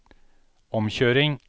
omkjøring